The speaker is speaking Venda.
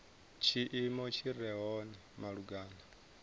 tshiimo tshi re hone malugana